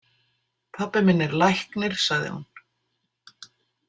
Pabbi minn er læknir, sagði hún.